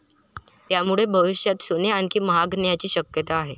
त्यामुळे भविष्यात सोने आणखी महागण्याची शक्यता आहे.